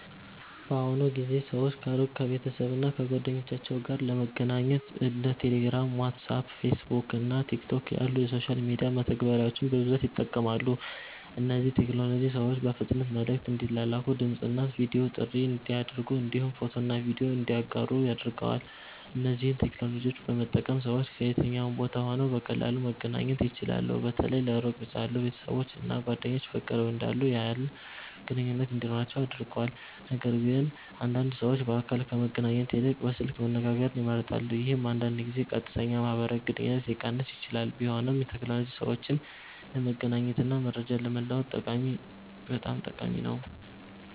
በአሁኑ ጊዜ ሰዎች ከሩቅ ቤተሰብ እና ጓደኞቻቸው ጋር ለመገናኘት እንደ ቴሌግራም፣ ዋትስአፕ፣ ፌስቡክ እና ቲክቶክ ያሉ የሶሻል ሚዲያ መተግበሪያዎችን በብዛት ይጠቀማሉ። እነዚህ ቴክኖሎጂዎች ሰዎች በፍጥነት መልዕክት እንዲላላኩ፣ ድምፅ እና ቪዲዮ ጥሪ እንዲያደርጉ እንዲሁም ፎቶና ቪዲዮ እንዲያጋሩ አድርገዋል። እነዚህን ቴክኖሎጂዎች በመጠቀም ሰዎች ከየትኛውም ቦታ ሆነው በቀላሉ መገናኘት ይችላሉ። በተለይ ለሩቅ ያሉ ቤተሰቦች እና ጓደኞች በቅርብ እንዳሉ ያህል ግንኙነት እንዲኖራቸው አድርጓል። ነገርግን አንዳንድ ሰዎች በአካል ከመገናኘት ይልቅ በስልክ መነጋገርን ይመርጣሉ፣ ይህም አንዳንድ ጊዜ ቀጥተኛ ማህበራዊ ግንኙነትን ሊቀንስ ይችላል። ቢሆንም ቴክኖሎጂ ሰዎችን ለመገናኘት እና መረጃ ለመለዋወጥ በጣም ጠቃሚ ነው።